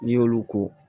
N'i y'olu ko